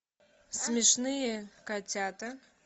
смешные котята